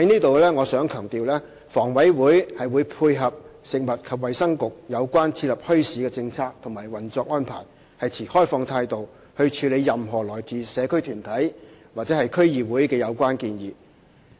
我想在此強調，房委會會配合食物及衞生局有關設立墟市的政策和運作安排，持開放的態度處理任何來自社區團體或區議會的有關建議。